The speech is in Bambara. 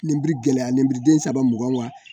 Ninbiri gɛlɛya , ninbiriden saba mugan wa!